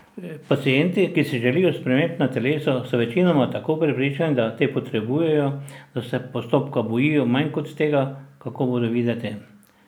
Pacienti, ki si želijo sprememb na telesu, so večinoma tako prepričani, da te potrebujejo, da se postopka bojijo manj kot tega, kako bodo videti.